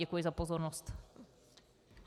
Děkuji za pozornost.